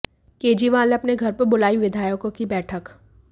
केजरीवाल ने अपने घर पर बुलाई विधायकों की बैठक